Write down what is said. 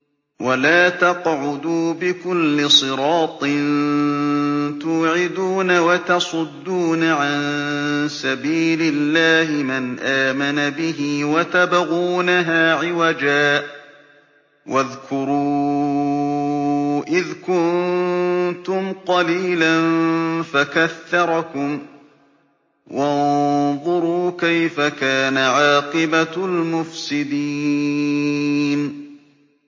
وَلَا تَقْعُدُوا بِكُلِّ صِرَاطٍ تُوعِدُونَ وَتَصُدُّونَ عَن سَبِيلِ اللَّهِ مَنْ آمَنَ بِهِ وَتَبْغُونَهَا عِوَجًا ۚ وَاذْكُرُوا إِذْ كُنتُمْ قَلِيلًا فَكَثَّرَكُمْ ۖ وَانظُرُوا كَيْفَ كَانَ عَاقِبَةُ الْمُفْسِدِينَ